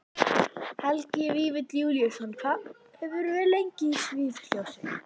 Helgi Vífill Júlíusson: Hvað hefurðu verið lengi í sviðsljósinu?